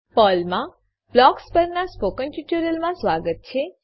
પર્લમાં blocks blocks પરનાં spoken ટ્યુટોરીયલમાં સ્વાગત છે